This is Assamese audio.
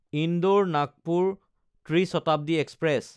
ইন্দোৰ–নাগপুৰ ত্ৰি শতাব্দী এক্সপ্ৰেছ